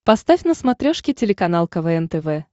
поставь на смотрешке телеканал квн тв